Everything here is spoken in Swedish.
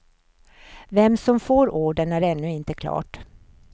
Vem som får ordern är ännu inte klart.